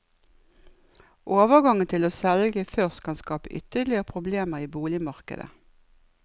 Overgangen til å selge først kan skape ytterligere problemer i boligmarkedet.